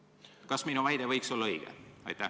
Kas minu väide võiks olla õige?